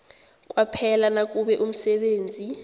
kwaphela nakube umsebenzi